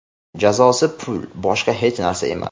Jazosi pul, boshqa hech narsa emas.